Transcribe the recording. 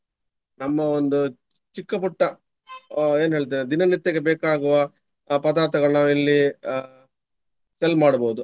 ನಮ್ಮ ಒಂದು ಚಿಕ್ಕ ಪುಟ್ಟ ಅಹ್ ಏನ್ ಹೇಳ್ತೇವೆ ದಿನ ನಿತ್ಯಕ್ಕೆ ಬೇಕಾಗುವ ಪದಾರ್ಥಗಳನ್ನ ನಾವಿಲ್ಲಿ sell ಮಾಡ್ಬಹುದು.